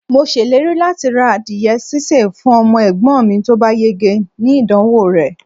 mo ṣèlérí lati ra adìye sise fún ọmọ egbon mi ti o ba yege ni idanwo re